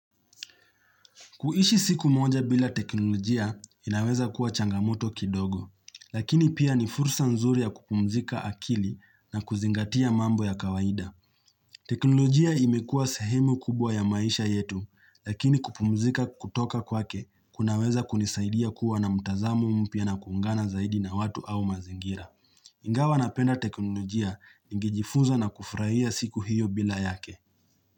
Kuishi siku moja bila teknolojia inaweza kuwa changamoto kidogo, lakini pia ni fursa nzuri ya kupumzika akili na kuzingatia mambo ya kawaida. Teknolojia imekua sahemu kubwa ya maisha yetu, lakini kupumzika kutoka kwake kunaweza kunisaidia kuwa na mutazamu mpia na kungana zaidi na watu au mazingira. Ingawa napenda teknolojia, ingijifunza na kufraia siku hiyo bila yake.